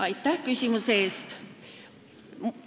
Aitäh küsimuse eest!